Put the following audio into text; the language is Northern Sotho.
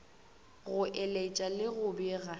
go eletša le go bega